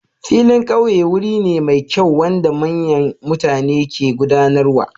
Filin ƙauye wuri ne mai kyau wanda manyan mutane ke gudanarwa.